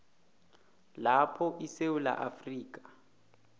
lapho isewula afrika